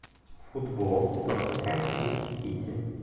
футбол тоттенхэм и сити